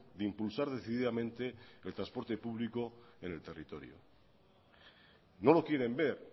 de impulsar decididamente el transporte publico en el territorio no lo quieren ver